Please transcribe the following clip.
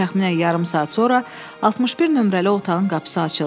Təxminən yarım saat sonra 61 nömrəli otağın qapısı açıldı.